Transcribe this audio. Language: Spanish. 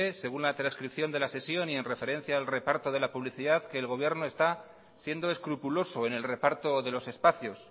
según la transcripción de la sesión y en referencia al reparto de la publicidad que el gobierno está siendo escrupuloso en el reparto de los espacios